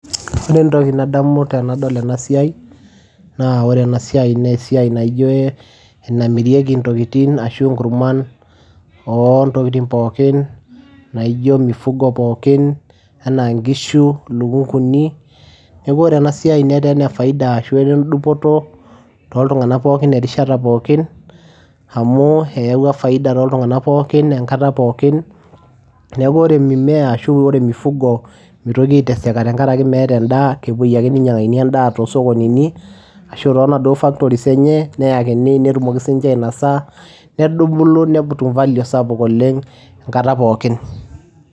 Ore entoki nadamu tenadol ena siai naa ore ena siai naa esiai naijo ee enamiriei intokitin ashu inkurman oo ntokitin pookin naijo mifugo pookin enaa inkishu, ilukung'uni. Neeku ore ena siai netaa ene faida ashu etaa endupoto toltung'anak pookin erishata pookin amu eyawua faida toltung'anak pookin enkata pookin. Neeku ore mimea ashu ore mifugo mitoki aiteseka tenkaraki meeta endaa kepuei ake ninyang'akini endaa too sokonini ashu too naduo factories enye neyakini netumoki siinche ainasa nedubulu netum value sapuk oleng' enkata pookin.